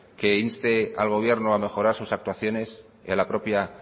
que inste al gobierno a mejorar sus actuaciones y a la propia